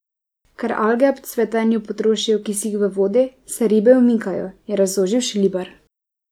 Ker alge ob cvetenju potrošijo kisik v vodi, se ribe umikajo, je razložil Šlibar.